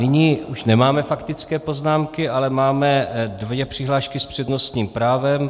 Nyní už nemáme faktické poznámky, ale máme dvě přihlášky s přednostním právem.